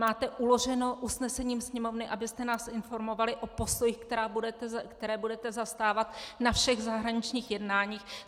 Máte uloženo usnesením Sněmovny, abyste nás informovali o postojích, které budete zastávat na všech zahraničních jednáních.